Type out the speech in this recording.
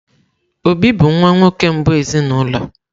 Obi bụ nwa nwoke mbụ ezinụlọ.